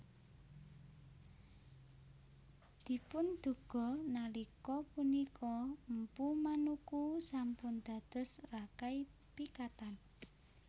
Dipunduga nalika punika Mpu Manuku sampun dados Rakai Pikatan